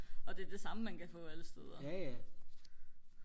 og det er det samme man kan få alle steder